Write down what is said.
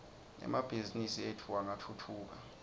emabhizimisi etfu angatfutfuka